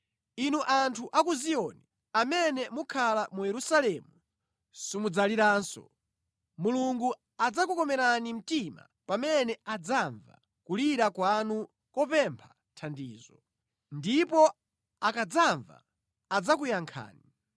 Inu anthu a ku Ziyoni, amene mukhala mu Yerusalemu simudzaliranso. Mulungu adzakukomerani mtima pamene adzamva kulira kwanu kopempha thandizo! Ndipo akadzamva, adzakuyankhani.